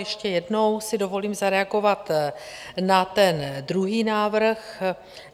Ještě jednou si dovolím zareagovat na ten druhý návrh.